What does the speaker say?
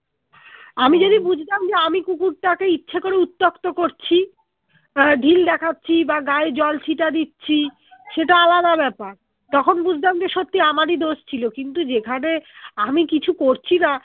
আমি বুঝতাম যে আমি কুকুরটা কে ইচ্ছে করে উত্তপ্ত করছি আহ ঢিল দেখাচ্ছি বা গায়ে জল ছিটা দিচ্ছি সেটা আলাদা ব্যাপার তখন বুঝতাম যে সত্যি আমারই দশ ছিল কিন্তু যেখানে আমি কিছু করছিনা